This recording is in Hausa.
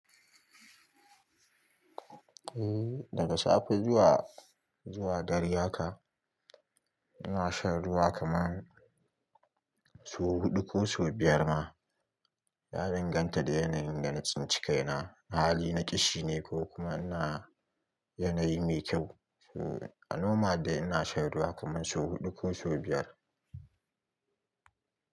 Eh daga safe zuwa, zuwa dare haka ina shan ruwa kaman so huɗu ko so biyar ma. Ya dinganta da yanayin dana tsinci kaina na. Ahali na kishi ne ko kuma ina yanayi mai kyau. So a noma dai ina shan ruwa kaman so huɗu ko so biyar.